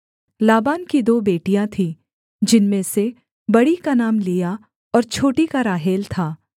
लाबान की दो बेटियाँ थी जिनमें से बड़ी का नाम लिआ और छोटी का राहेल था